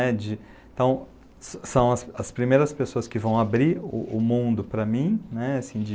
Então, são as primeiras pessoas que vão abrir o mundo para mim, né, assim, de...